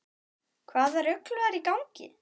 Hvaða rugl var í gangi?